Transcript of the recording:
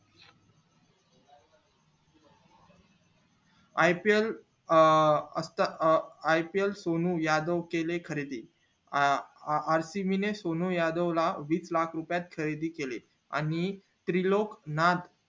ipl अं अता अं ipl ने सोनू यादव केले खरेदी अं rcb सोनू यादव ला केले वीस लाख रुपय मध्ये खरेदी आणि त्रिलोक नाथ